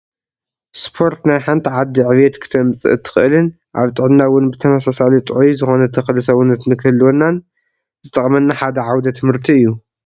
ስፖርት ናይ ሓንቲ ዓዲ ዕቤት ክተምፀእ እትክእልን ኣብ ጥዕና እውን ብተመሳሳሊ ጥዑይ ዝኮነ ተክሊ ሰውነት ክንህልወናን ዝጠቅመና ሓደ ዓውደ ትምህርቲ እዩ።